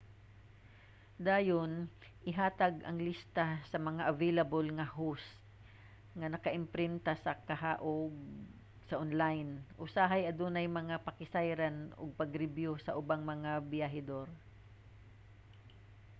dayon ihatag ang lista sa mga available nga host nga naka-imprinta ba kaha ug/o sa online usahay adunay mga pakisayran ug pagribyu sa ubang mga biyahedor